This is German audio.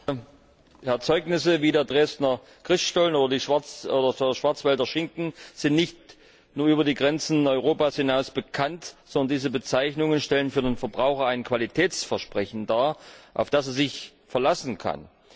Herr Präsident! Erzeugnisse wie der Dresdner Christstollen oder der Schwarzwälder Schinken sind nicht nur über die Grenzen Europas hinaus bekannt, sondern diese Bezeichnungen stellen für den Verbraucher ein Qualitätsversprechen dar, auf das er sich verlassen kann.